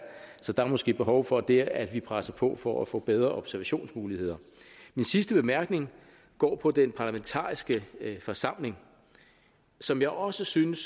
så der er måske behov for der at vi presser på for at få bedre observationsmuligheder en sidste bemærkning går på den parlamentariske forsamling som jeg også synes